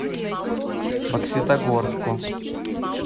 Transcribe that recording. бокситогорску